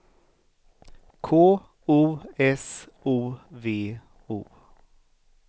K O S O V O